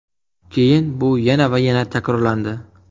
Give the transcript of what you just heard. Keyin bu yana va yana takrorlandi.